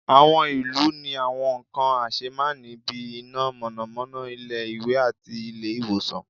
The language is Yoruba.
awọn ilu ní àwọn nkan asémàní bí, iná mọnamọna, ilé ìwé, àti ilé ìwòsan